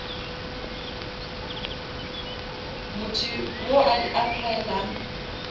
motho wo a di applyelang